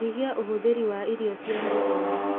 Nyihia ũhũthĩri wa irio cia naihenya